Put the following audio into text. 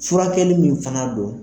Furakɛli min fana don